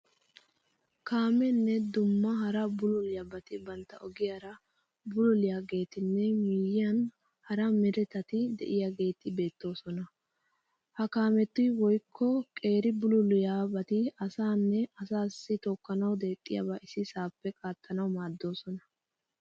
Kaameenne dumma hara bululiyabati bantta ogiyaara bululiyaageetinne miyyiyan hara meretati de'iyageeti beettoosona. Ha kaameti woyikko qeeri bululiyabati asaanne asaassi tookkanawu deexxiyaba ississaappe qaattanawu maaddoosona.